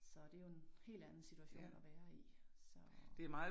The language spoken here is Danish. Så det jo en helt anden situation at være i så